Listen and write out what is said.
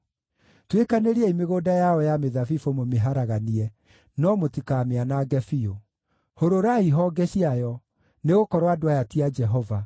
“Tuĩkanĩriai mĩgũnda yao ya mĩthabibũ mũmĩharaganie, no mũtikamĩanange biũ. Hũrũrai honge ciayo, nĩgũkorwo andũ aya ti a Jehova.